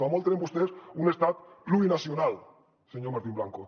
com a molt tenen vostès un estat plurinacional senyor martín blanco